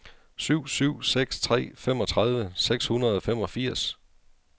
syv syv seks tre femogtredive seks hundrede og femogfirs